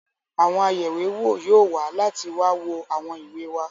Àwọn ayẹ̀wéwò yóò wá láti wá wo àwọn ìwé wa.